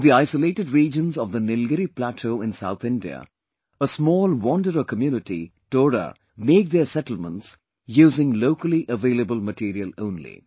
In the isolated regions of the Nilgiri plateau in South India, a small wanderer community Toda make their settlements using locally available material only